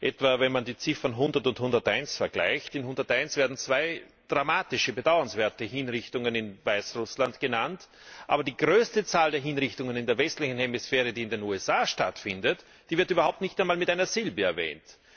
Etwa wenn man die Ziffern 100 und 101 vergleicht. In 101 werden zwei dramatische, bedauernswerte Hinrichtungen in Weißrussland genannt, aber die größte Zahl der Hinrichtungen in der westlichen Hemisphäre, die in den USA stattfindet, wird überhaupt nicht einmal mit einer Silbe erwähnt.